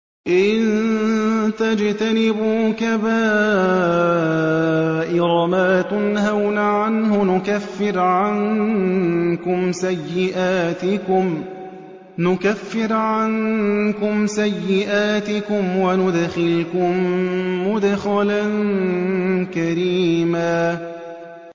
إِن تَجْتَنِبُوا كَبَائِرَ مَا تُنْهَوْنَ عَنْهُ نُكَفِّرْ عَنكُمْ سَيِّئَاتِكُمْ وَنُدْخِلْكُم مُّدْخَلًا كَرِيمًا